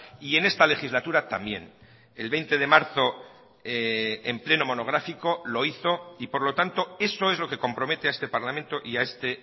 y en esta legislatura también el veinte de marzo en pleno monográfico lo hizo y por lo tanto eso es lo que compromete a este parlamento y a este